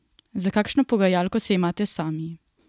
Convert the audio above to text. Za kakšno pogajalko se imate sami?